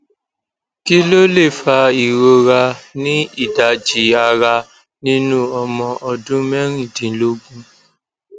kí ló lè fa ìrora ni idaji arà nínú ọmọ ọdún mẹrìndínlógún